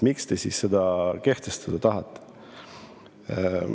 Miks te siis seda maksu kehtestada tahate?